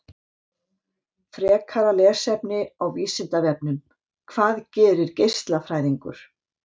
Frekara lesefni á Vísindavefnum: Hvað gerir geislafræðingur?